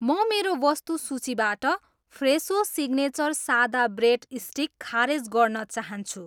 म मेरो वस्तु सूचीबाट फ्रेसो सिग्नेचर सादा ब्रेड स्टिक खारेज गर्न चाहन्छु